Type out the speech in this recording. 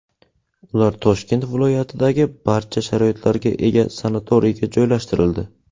Ular Toshkent viloyatidagi barcha sharoitlarga ega sanatoriyga joylashtirildi.